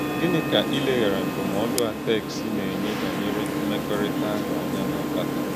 Gínị kà ìlèghàrā ndụ́mòdù a téksì na-enye bányèré mmèkòrítàhụ́ ànyà na-akpàtà?